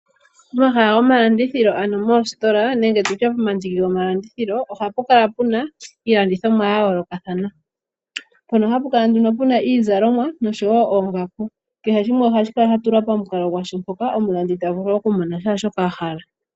Omahala go malandithilo ano moostola, nenge tulye po mandiki go malandithilo, oha pu kala puna iilandithomwa ya yoolokathana, mpono ha pu kala nduno puna iizalomwa, nosho woo oongaku. Kehe shimwe ohashi kala sha tulwa pamukalo gwasho mpoka omulandi ta vulu oku mona shaa shoka a hala.